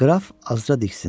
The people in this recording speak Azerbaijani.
Qraf Azra diksindi.